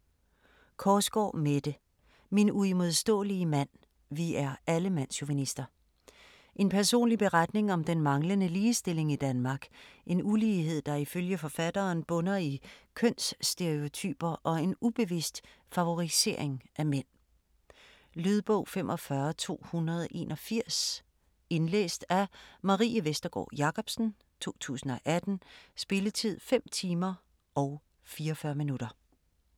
Korsgaard, Mette: Min uimodståelige mand: vi er alle mandschauvinister En personlig beretning om den manglende ligestilling i Danmark. En ulighed der ifølge forfatteren bunder i kønsstereotyper og en ubevidst favorisering af mænd. Lydbog 45281 Indlæst af Marie Vestergård Jacobsen, 2018. Spilletid: 5 timer, 44 minutter.